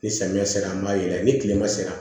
Ni samiya sera an b'a yɛlɛ ni tilema sera